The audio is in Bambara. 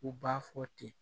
U b'a fɔ ten